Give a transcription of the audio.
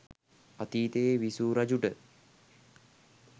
අතීතයේ විසූ රජුට